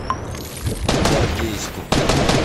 гвардейску